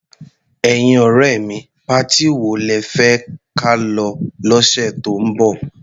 Ẹ̀yin ọ̀rẹ́ mi, patí wo lẹ fẹ́ ka lọ lọ́sẹ̀ tó ń bọ̀?